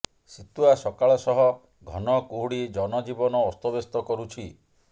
ଶିତୁଆ ସକାଳ ସହ ଘନ କୁହୁଡ଼ି ଜନଜୀବନ ଅସ୍ତବ୍ୟସ୍ତ କରୁଛି